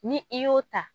Ni i y'o ta